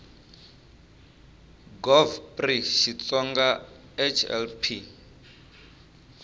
gov pri xitsonga hl p